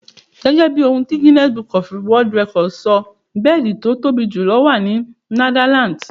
Gẹ́gẹ́ bí ohun ti Guinness Book of World records sọ, bẹ́ẹ̀dì tí ó tóbi jù wà ní Netherlands.